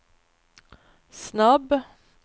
snabb